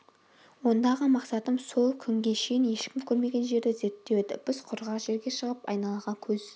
ондағы мақсатым сол күнге шейін ешкім көрмеген жерді зерттеу еді біз құрғақ жерге шығып айналаға көз